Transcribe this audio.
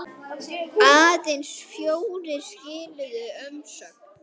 Stútur var tekið til starfa!